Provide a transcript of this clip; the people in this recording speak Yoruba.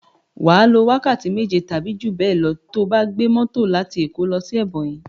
Wà á lo wákàtí méje tàbí jú bẹ́è lọ to bá gbé mọ́tò láti Èkó lọ sí Ẹbọnyi.